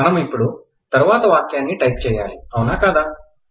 మనము ఇప్పుడు తరువాత వాక్యాన్నిటైప్ చేయాల్లి ఔనా కాదా